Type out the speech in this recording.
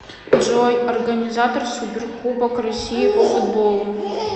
джой организатор суперкубок россии по футболу